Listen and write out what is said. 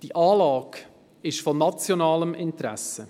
Diese Anlage ist von nationalem Interesse.